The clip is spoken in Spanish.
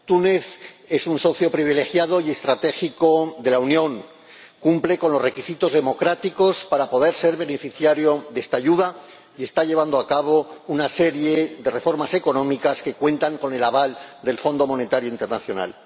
Túnez es un socio privilegiado y estratégico de la Unión, cumple los requisitos democráticos para poder ser beneficiario de esta ayuda y está llevando a cabo una serie de reformas económicas que cuentan con el aval del Fondo Monetario Internacional.